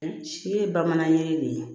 Si ye bamanan ye de